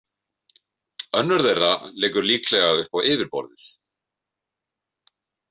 Önnur þeirra liggur líklega upp á yfirborðið.